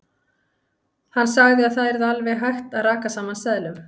Hann sagði að það yrði alveg hægt að raka saman seðlum.